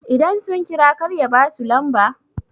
idan sun kira kar ya ba su lamba?